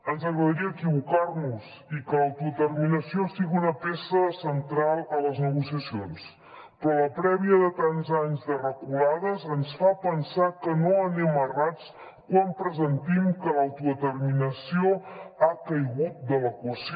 ens agradaria equivocar nos i que l’autodeterminació sigui una peça central a les negociacions però la prèvia de tants anys de reculades ens fa pensar que no anem errats quan pressentim que l’autodeterminació ha caigut de l’equació